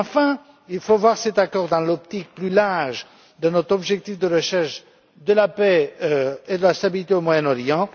Enfin, il faut voir cet accord dans l'optique plus large de notre objectif de recherche de la paix et de la stabilité au Moyen Orient.